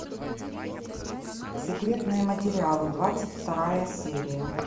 секретные материалы двадцать вторая серия